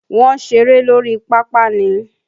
Wọ́n ń ṣeré lórí pápá ni.